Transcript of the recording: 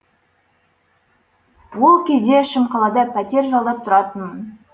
ол кезде шымқалада пәтер жалдап тұратынмын